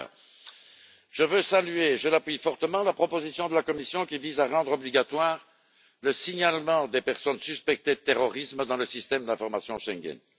Par ailleurs, je veux saluer, avec insistance, la proposition de la Commission, qui vise à rendre obligatoire le signalement des personnes suspectées de terrorisme dans le système d'information Schengen.